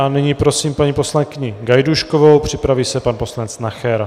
A nyní prosím paní poslankyni Gajdůškovou, připraví se pan poslanec Nacher.